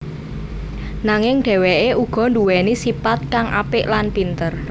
Nanging dheweke uga nduweni sipat kang apik lan pinter